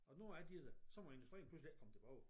Og nu er de der så må industrien pludselig ikke komme tilbage